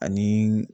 Ani